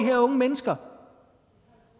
her unge mennesker